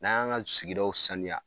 N'an y' an ka sigidaw saniya